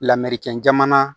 Lamɛricɛn jamana